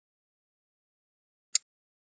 Argon er unnið með því að eima fljótandi andrúmsloft.